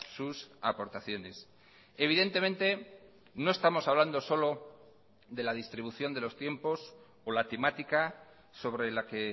sus aportaciones evidentemente no estamos hablando solo de la distribución de los tiempos o la temática sobre la que